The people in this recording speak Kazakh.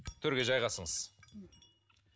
төрге жайғасыңыз